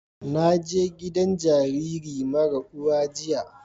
Na je gidan jariri mara uwa jiya